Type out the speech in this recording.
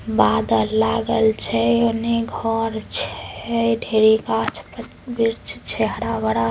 बादल लागल छे ओने घर छे ढ़ेरी गाछ वृक्ष छे हरा-भरा।